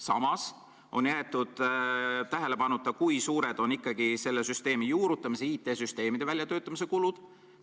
Samas on jäetud tähelepanuta, kui suured on selle süsteemi juurutamise, IT-süsteemide väljatöötamise kulud.